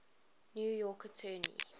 new york attorney